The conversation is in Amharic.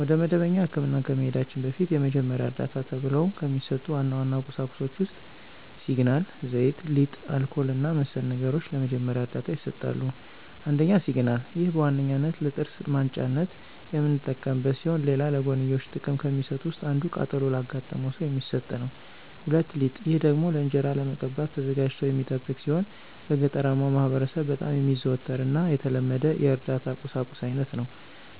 ወደ መደበኛ ህክምና ከመሂዳችን በፊት የመጀመሪያ ዕርዳታ ተብሎው ከሚሰጡ ዋና ዋና ቁሳቁሶች ውስጥ ሲግናል፣ ዘይት፣ ሊጥ፣ አልኮል እና መሰል ነገሮች ለመጀመሪያ ዕርዳታ ይሰጣሉ። ፩) ሲግናል፦ ይህ በዋነኛነት ለጥርስ ማንጫነት የምንጠቀምበት ሲሆን ሌላ ለጎንዮሽ ጥቅም ከሚሰጡት ውስጥ አንዱ ቃጠሎ ላጋጠመው ሰው የሚሰጥ ነው። ፪) ሊጥ፦ ይህ ደግሞ ለእንጅራ ለመቀባት ተዘጋጅቶ የሚጠብቅ ሲሆን በገጠራማው ማህበረሰብ በጣም የሚዘወተር እና የተለመደ የእርዳታ ቁሳቁስ አይነት ነው።